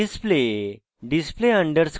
display display underscore exam